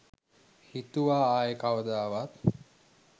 හිතුවා ආයෙ කවදාවත්.